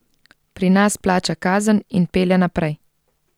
Pri nas plača kazen in pelje naprej.